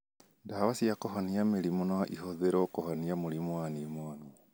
Ndawa cia kũhonia mĩrimũ no ĩhũthĩrũo kũhonia mũrimũ wa pneumonia